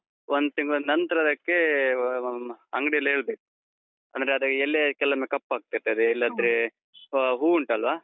ಒಂದು ತಿಂಗ್ಳ್ ನಂತ್ರ ಅದಕ್ಕೇ ಅಹ್ ಅಂಗಡಿಯಲ್ಲಿ ಹೇಳ್ಬೇಕು. ಅಂದ್ರೆ ಅದರ ಎಲೆ ಕೆಲವೊಮ್ಮೆ ಕಪ್ಪಾಗ್ತಿರ್ತದೆ, ಹೂವ್ ಉಂಟಲ್ವಾ?